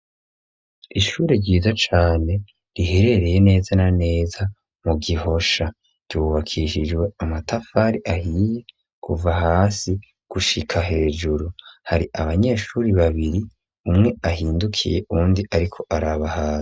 Ishure ryiza cane riherereye neza na neza mu gihosha ryubakishijwe amatafari ahiye kuva hasi gushika hejuru, hari abanyeshure babiri umwe ahindukiye uwundi ariko araba hasi.